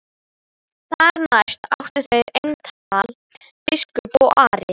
Þar næst áttu þeir eintal biskup og Ari.